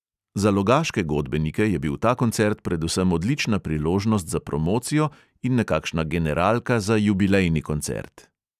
Za logaške godbenike je bil ta koncert predvsem odlična priložnost za promocijo in nekakšna generalka za jubilejni koncert.